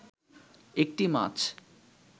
একটি মাছ